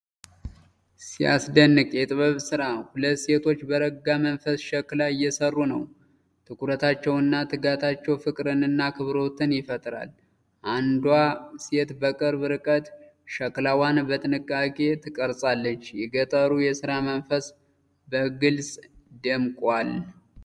ሲያስደንቅ የጥበብ ስራ! ሁለት ሴቶች በረጋ መንፈስ ሸክላ እየሰሩ ነው። ትኩረታቸውና ትጋታቸው ፍቅርንና አክብሮትን ይፈጥራል። አንዷ ሴት በቅርብ ርቀት ሸክላዋን በጥንቃቄ ትቀርጻለች። የገጠሩ የሥራ መንፈስ በግልጽ ደምቋል።